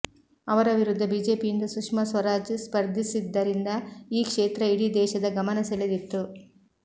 ಅವರ ವಿರುದ್ಧ ಬಿಜೆಪಿಯಿಂದ ಸುಷ್ಮಾ ಸ್ವರಾಜ್ ಸ್ಪರ್ಧಿಸಿದ್ದರಿಂದ ಈ ಕ್ಷೇತ್ರ ಇಡೀ ದೇಶದ ಗಮನ ಸೆಳೆದಿತ್ತು